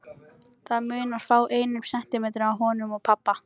Það munar fáeinum sentimetrum á honum og pabba.